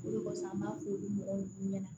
O de kɔsɔn an b'a fɔ olu mɔgɔw ɲɛna